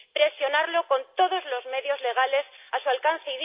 Presionarlo con todos los medios legales a su alcance.